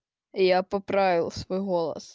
я поправил свой гоу